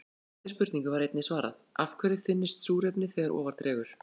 Eftirfarandi spurningu var einnig svarað: Af hverju þynnist súrefnið þegar ofar dregur?